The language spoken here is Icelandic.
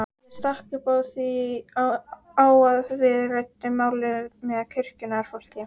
Ég stakk upp á að við ræddum málið með kirkjunnar fólki.